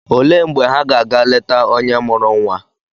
Olee mgbe ha ga ga leta onye mụrụ nwa?